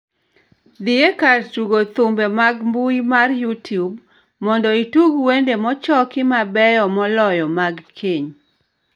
Dhi ekar tugo thumbe mar mbui mar youtube mondo itug wende mochoki mabeyo moloyo mag keny